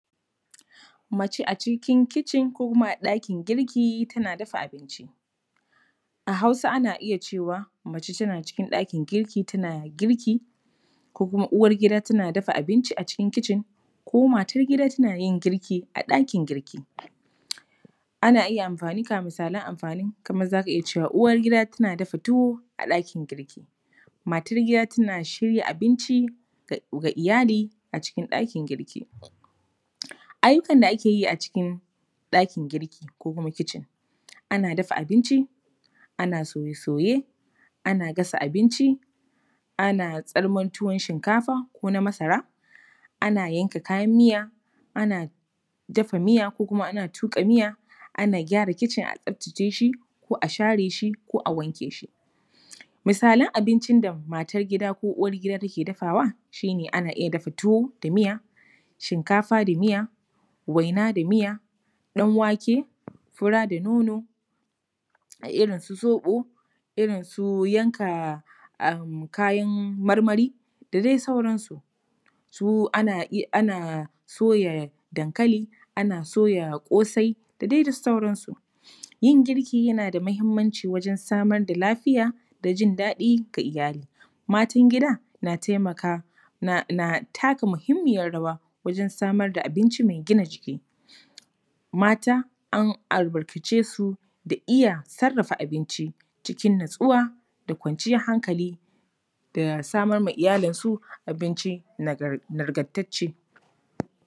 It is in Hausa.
Mace a cikin kitchen ko a ɗakin girki tana dafa abinci. A Hausa ana iya cewa, ‘mace tana cikin ɗakin girki, tana girki’ ko kuma ‘uwargida tana dafa abinci a cikin kitchen’ ko ‘matar gida tana yin girki a ɗakin girki’. Ana iya amfani, ga misalan amfani: kamar za ka iya cewa, ‘uwar gida tana dafa tuwo a ɗakin girki’, ‘matar gida tana shirya abinci ga iyali a cikin ɗakin girki’. Ayyukan da ake yi a cikin ɗakin girki ko kuma kitchen: ana dafa abinci, ana soye-soye, ana gasa abinci, ana tsarman tuwon shinkafa ko na masara, ana yanka kayan miya, ana dafa miya ko kuma ana tuƙa miya, ana gyara kitchen a tsaftace shi ko a share shi ko a wanke shi. Misalan abinci da matar gida ko uwar gida take dafawa shi ne: ana iya dafa tuwo da miya, shinkafa da miya, waina da miya, ɗan wake, fura da nono, a irin su zoɓo, irin su yanka kayan marmari da dai sauransu. Su ana soya dankali, ana soya ƙosai da dai sauransu. Yin girki yana da muhimmanci wajen samar da lafiya da jin daɗi ga iyali. Matan gida na taimaka, na taka muhimmiyar rawa wajen samar da abinci mai gina jiki. Mata an albarkace su da iya sarrafa abinci cikin natsuwa da kwanciyar hankali da samar wa iyalinsu abinci nagartacce.